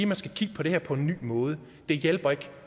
man skal kigge på det her på en ny måde det hjælper ikke